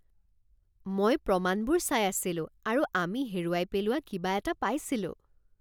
মই প্ৰমাণবোৰ চাই আছিলো আৰু আমি হেৰুৱাই পেলোৱা কিবা এটা পাইছিলোঁ